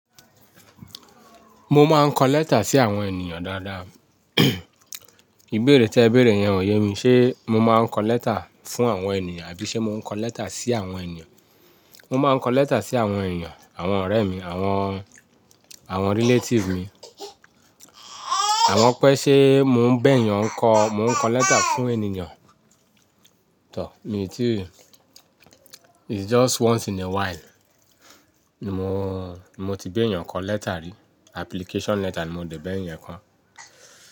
Mo máa ń kọ lẹ́tà sí àwọn ènìyàn dáadáa. Ìbéèrè tí ẹ béèrè yẹn ò yé mi. Ṣé mo máa ń kọ lẹ́tà fún àwọn ènìyàn àbí ṣe mò ń kọ lẹ́tà sí àwọn ènìyàn? Mo máa ń kọ lẹ́tà sí àwọn ènìyàn, àwọn ọ̀rẹ́ mi, àwọn, àwọn relatives mi. Àwọn pẹ́ ṣé mò ń bá èyàn ń kọ, mò ń kọ lẹ́tà fún ènìyàn? Tọ̀or, mi ò tíì, it's just once in a while. Mo, mo ti béèyàn kọ lẹ́tà rí, application letter ni mo dẹ̀ bẹ̀ yẹn kán.